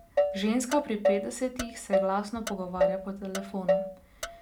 Ženska pri petdesetih se glasno pogovarja po telefonu.